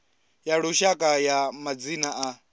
ya lushaka ya madzina a